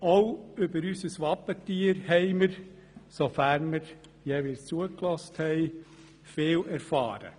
Auch über unser Wappentier haben wir, sofern wir jeweils zugehört haben, viel erfahren.